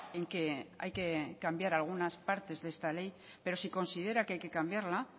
en que hay que cambiar algunas partes de esta ley pero si considera que hay que cambiarla